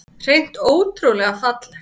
Hreint ótrúlega falleg